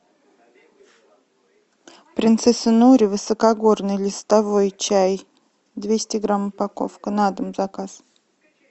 принцесса нури высокогорный листовой чай двести грамм упаковка на дом заказ